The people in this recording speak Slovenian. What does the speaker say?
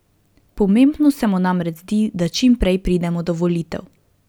Pomembno se mu namreč zdi, da čim prej pridemo do volitev.